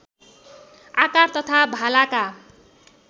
आकार तथा भालाका